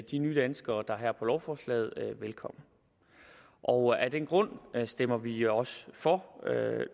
de nye danskere der er her på lovforslaget velkommen og af den grund stemmer vi også for